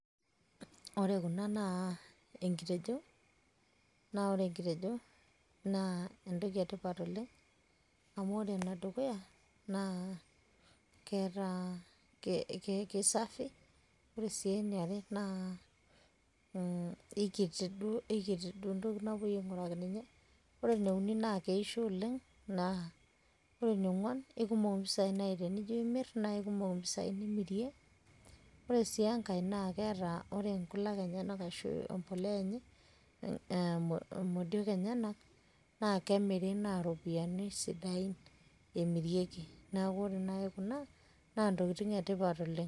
ore kuna naa enkitejo, naa ore enkitejo naa entoki etipat oleng. amu ore enedukuya naa kisafi, ore eniare kikiti duo entoki napuoi ainguraki ninye, ore eneuni naa keisho oleng, naa ore eninguan naa kikumok imoisai, kikumok impisai nimirie, ore siii enkae ore nkulak enyanak, ashu empuliya enye imodiok enyenak, naa kemiri naa iropiyiani sidain emirieki. neeku ore naaji kuna naa ntokitin etipat oleng.